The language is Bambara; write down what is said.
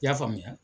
I y'a faamuya